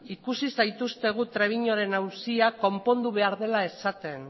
ikusi zaituztegu trebiñuren auzia konpondu behar dela esaten